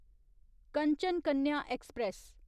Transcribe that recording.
Kanchan Kanya express